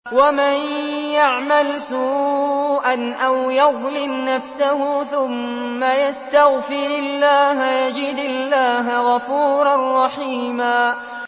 وَمَن يَعْمَلْ سُوءًا أَوْ يَظْلِمْ نَفْسَهُ ثُمَّ يَسْتَغْفِرِ اللَّهَ يَجِدِ اللَّهَ غَفُورًا رَّحِيمًا